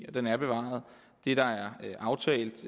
og den er bevaret det der er aftalt